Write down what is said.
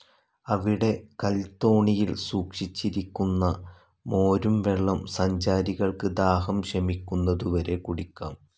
അവിടെ കൽത്തോണിയിൽ സൂക്ഷിച്ചിരിക്കുന്ന മോരുംവെള്ളം സഞ്ചാരികൾക്ക്‌ ദാഹം ശമിക്കുന്നതുവരെ കുടിക്കാം.